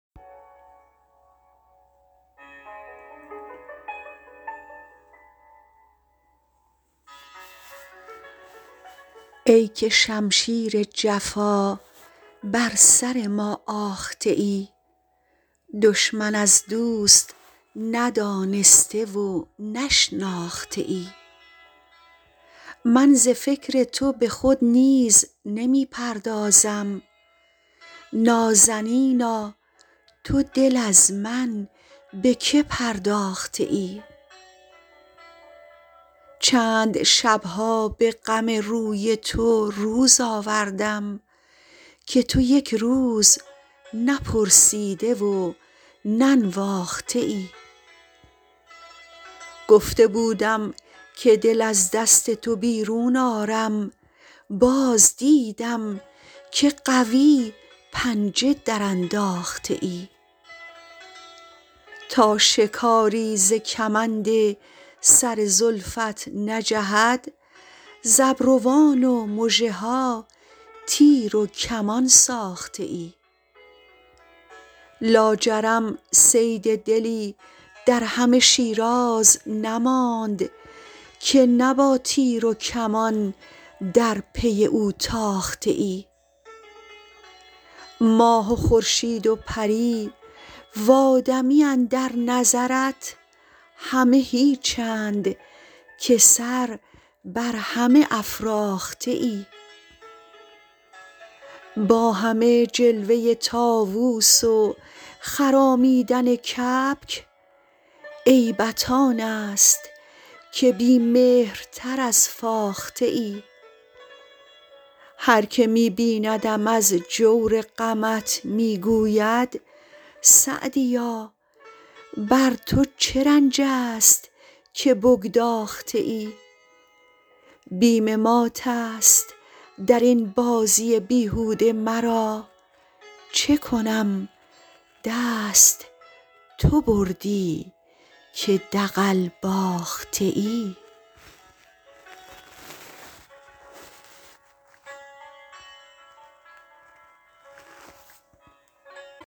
ای که شمشیر جفا بر سر ما آخته ای دشمن از دوست ندانسته و نشناخته ای من ز فکر تو به خود نیز نمی پردازم نازنینا تو دل از من به که پرداخته ای چند شب ها به غم روی تو روز آوردم که تو یک روز نپرسیده و ننواخته ای گفته بودم که دل از دست تو بیرون آرم باز دیدم که قوی پنجه درانداخته ای تا شکاری ز کمند سر زلفت نجهد ز ابروان و مژه ها تیر و کمان ساخته ای لاجرم صید دلی در همه شیراز نماند که نه با تیر و کمان در پی او تاخته ای ماه و خورشید و پری و آدمی اندر نظرت همه هیچند که سر بر همه افراخته ای با همه جلوه طاووس و خرامیدن کبک عیبت آن است که بی مهرتر از فاخته ای هر که می بیندم از جور غمت می گوید سعدیا بر تو چه رنج است که بگداخته ای بیم مات است در این بازی بیهوده مرا چه کنم دست تو بردی که دغل باخته ای